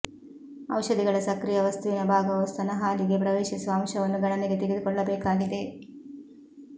ಔಷಧಿಗಳ ಸಕ್ರಿಯ ವಸ್ತುವಿನ ಭಾಗವು ಸ್ತನ ಹಾಲಿಗೆ ಪ್ರವೇಶಿಸುವ ಅಂಶವನ್ನು ಗಣನೆಗೆ ತೆಗೆದುಕೊಳ್ಳಬೇಕಾಗಿದೆ